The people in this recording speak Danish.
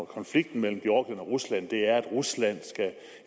konflikten mellem georgien og rusland er at rusland